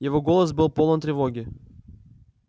его голос был полон тревоги